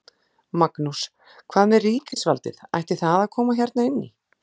Magnús: Hvað með ríkisvaldið, ætti það að koma hérna inn í?